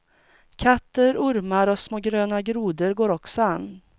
Katter, ormar och små gröna grodor går också an.